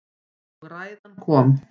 Og ræðan kom.